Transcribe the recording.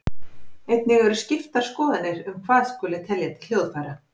Einnig eru skiptar skoðanir um hvað skuli telja til hljóðfæra.